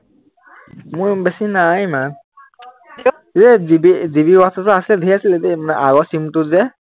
মোৰ বেছি নাই ইমান এৰ জিবি জিবি whatsapp টো আছিলে ঢেৰ আছিলে দেই আহ আগৰ SIM টোত যে